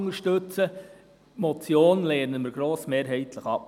Die Motion lehnen wir grossmehrheitlich ab.